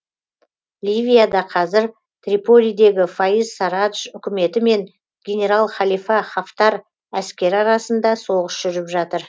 ливияда қазір триполидегі фаиз сарадж үкіметі мен генерал халифа хафтар әскері арасында соғыс жүріп жатыр